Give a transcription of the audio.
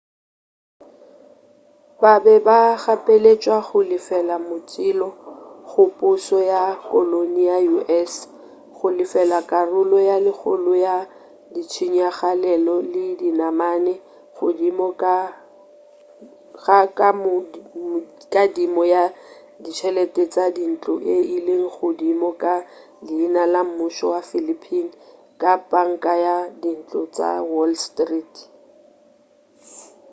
ba be ba gapeletšwa go lefela motšhelo go pušo ya koloni ya u.s. go lefela karolo ye kgolo ya ditshenyagalelo le dinamane godimo ga kadimo ya ditšhelete tša dintlo e ile godimo ka leina la mmušo wa philippine ka panka ya dintlo tša wall street